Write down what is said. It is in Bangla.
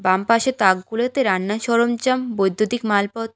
বামপাশের তাকগুলোতে রান্নার সরঞ্জাম বৈদ্যুতিক মালপত--